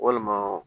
Walima